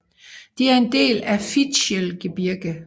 De er en del af Fichtelgebirge